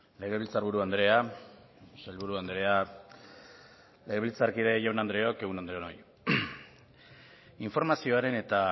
legebiltzar buru andrea sailburu andrea legebiltzarkide jaun andreok egun on denoi informazioaren eta